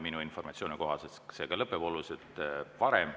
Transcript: Minu informatsiooni kohaselt see ka lõpeb oluliselt varem.